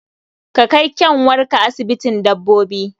Ka kai ƙyanwarka asibitin dabbobi!